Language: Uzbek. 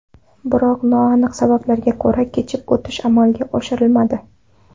Biroq noaniq sabablarga ko‘ra kechib o‘tish amalga oshirilmadi.